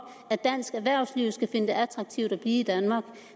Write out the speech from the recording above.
at dansk erhvervsliv skal finde det attraktivt at blive i danmark